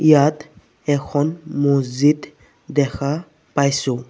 ইয়াত এখন মছজিদ দেখা পাইছোঁ।